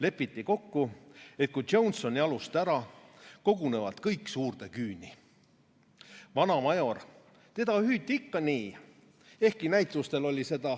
Lepiti kokku, et kui Jones on jalust ära, kogunevad kõik suurde küüni.